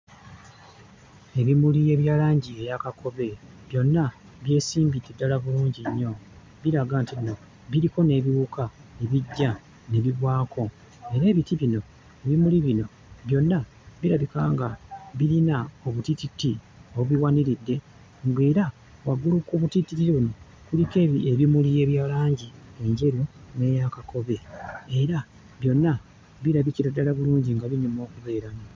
Ebimuli ebya langi eya kakobe byonna byesimbidde ddala bulungi nnyo. Biraga nti biriko n'ebiwuka ebijja ne bigwako era ebiti bino ebimuli bino byonna birabika nga birina obutiititi obubiwaniridde ng'era waggulu ku butittiriri kuliko ebimuli ebya langi enjeru n'eya kakobe era byonna birabikira ddala bulungi nga binyuma okubeeramu.